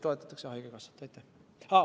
Aitäh!